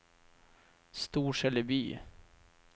Storseleby